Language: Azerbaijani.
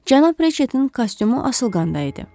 Cənab Riçetin kostyumu asılqanda idi.